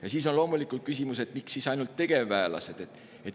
Ja siis on loomulikult küsimus, miks siis ainult tegevväelased.